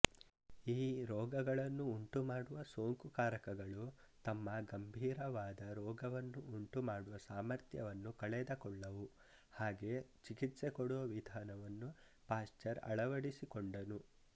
ಈ ರೋಗಗಳನ್ನು ಉಂಟುಮಾಡುವ ಸೋಂಕುಕಾರಕಗಳು ತಮ್ಮ ಗಂಭೀರವಾದ ರೋಗವನ್ನು ಉಂಟುಮಾಡುವ ಸಾಮರ್ಥ್ಯವನ್ನು ಕಳೆದಕೊಳ್ಳವು ಹಾಗೆ ಚಿಕಿತ್ಸೆಕೊಡುವ ವಿಧಾನವನ್ನು ಪಾಶ್ಚರ್ ಆಳವಡಿಸಿಕೊಂಡನು